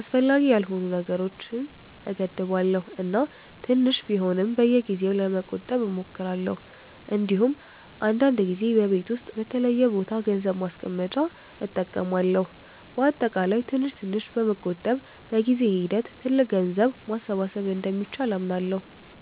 አስፈላጊ ያልሆኑ ነገሮችን እገድባለሁ እና ትንሽ ቢሆንም በየጊዜው ለመቆጠብ እሞክራለሁ። እንዲሁም አንዳንድ ጊዜ በቤት ውስጥ በተለየ ቦታ ገንዘብ ማስቀመጫ እጠቀማለሁ። በአጠቃላይ ትንሽ ትንሽ በመቆጠብ በጊዜ ሂደት ትልቅ ገንዘብ ማሰባሰብ እንደሚቻል አምናለሁ።